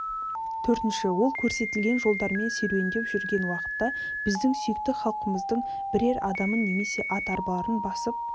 төртінші ол көрсетілген жолдармен серуендеп жүрген уақытта біздің сүйікті халқымыздың бірер адамын немесе ат арбаларын басып